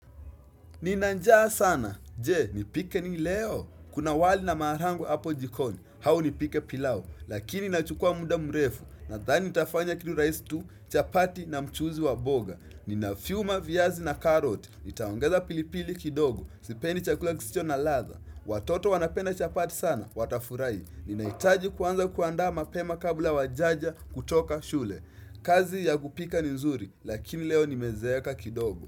Nina njaa sana, jee, nipike ni leo. Kuna wali na maharagwe hapo jikoni, au nipike pilao, lakini nachukua muda mrefu, nadhani nitafanya kitu rahisi tu, chapati na mchuzi wa mboga. Ninafyuma viazi na carrot, nitaongeza pilipili kidogo, sipendi chakula kisicho na ladha. Watoto wanapenda chapati sana, watafurahi. Ninahitaji kwanza kuandaa mapema kabla wajaja kutoka shule. Kazi ya kupika ni nzuri, lakini leo nimezeeka kidogo.